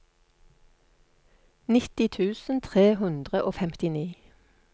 nitti tusen tre hundre og femtini